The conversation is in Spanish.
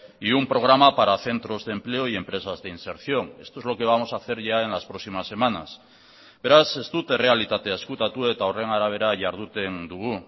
y un programa para centros de empleo y empresas de inserción esto es lo que vamos a hacer ya en las próximas semanas beraz ez dut errealitatea ezkutatu eta horren arabera jarduten dugu